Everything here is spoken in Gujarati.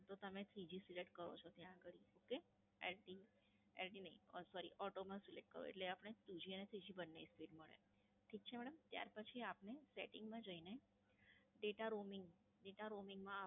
તો તમે Three G Select કરો છો ત્યાં અગાડી. ઓકે! ઇડ નઈ Sorry Auto માં Select કરો એટલે આપણે Two G અને Three G બંને Speed મળે. ઠીક છે મેડમ. ત્યાર પછી પણે Setting માં જઈને Data Roaming માં જઈને Data Roaming